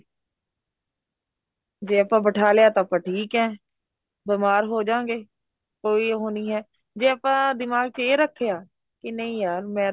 ਜੇ ਆਪਾਂ ਬਿਠਾ ਲਿਆ ਤਾਂ ਆਪਾਂ ਠੀਕ ਏ ਬੀਮਾਰ ਹੋਜਾਗੇ ਕੋਈ ਉਹ ਨਹੀਂ ਏ ਜੇ ਆਪਾਂ ਦਿਮਾਗ ਚ ਇਹ ਰੱਖਿਆ ਕੀ ਨਹੀਂ ਯਾਰ ਮੈਂ ਤਾਂ